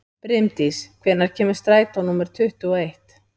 Brimdís, hvenær kemur strætó númer tuttugu og eitt?